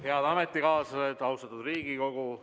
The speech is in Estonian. Head ametikaaslased, austatud Riigikogu!